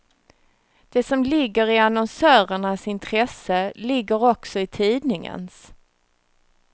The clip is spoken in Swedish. Det som ligger i annonsörernas intresse ligger också i tidningens.